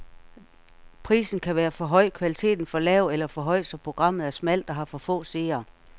Prisen kan være for høj, kvaliteten for lav, eller for høj, så programmet er smalt og har for få seere.